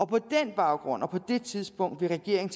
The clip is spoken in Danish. på den baggrund og på det tidspunkt vil regeringen